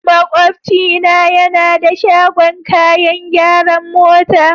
Makwabcina yana da shagon kayan gyaran mota.